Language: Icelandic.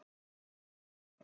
Þá eru